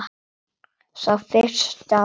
Sá fyrsti af mörgum slíkum.